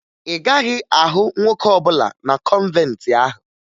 Ị gaghị ahụ nwoke ọbụla na kọnventi ahụ